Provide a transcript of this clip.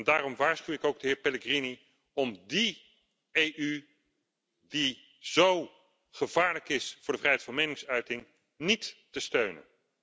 Daarom waarschuw ik ook de heer Pellegrini om die EU die zo gevaarlijk is voor de vrijheid van meningsuiting niet te steunen.